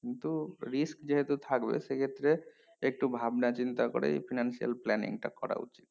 কিন্তু risk যেহেতু থাকবে সেই ক্ষেত্রে একটু ভাবা চিন্তা করেই finance planning টা করা উচিত